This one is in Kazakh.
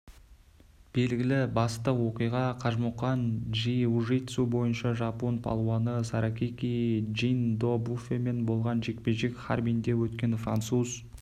белгілі басты оқиға қажымұқан джиу-житсу бойынша жапон палуаны саракики джиндофумен болған жекпе-жек харбинде өткен француз